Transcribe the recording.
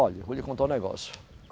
Olhe, eu vou lhe contar um negócio.